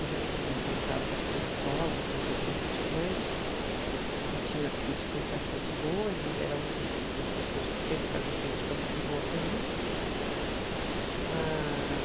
Eu já tinha dançado bastante solo, já tinha feito bastante coisa, e tinha críticas bastante boas, e ele era um dos, das pessoas que sempre fazia crítica muito boa para mim. Ah